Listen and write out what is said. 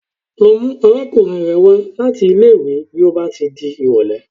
Lọ mú arákùnrin rẹ wá láti ilé ìwé bí ó bá ti di ìrọ̀lẹ́.!